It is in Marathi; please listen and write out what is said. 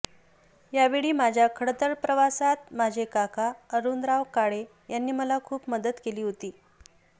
यावेळी माझ्या खडतर प्रवासात माझे काका अरुणराव काळे यांनी मला खूप मदत केली होती